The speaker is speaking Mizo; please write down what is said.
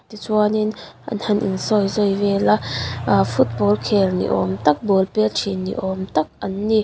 tichuanin an han insawizawi vel a a football khel ni awm tak ball pet thin ni awm tak an ni.